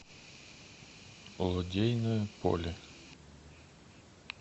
лодейное поле